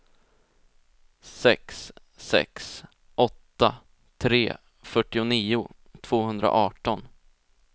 sex sex åtta tre fyrtionio tvåhundraarton